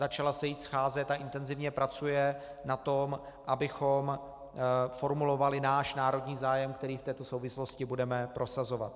Začala se již scházet a intenzivně pracuje na tom, abychom formulovali náš národní zájem, který v této souvislosti budeme prosazovat.